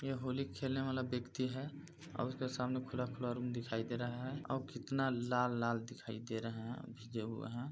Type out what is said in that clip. यह होली खेलने वाला व्यक्ति है अउ उसके सामने खुला-खुला रूम दिखाई दे रहा है अउ कितना लाल-लाल दिखाई दे रहा है अभी जो हुआ है।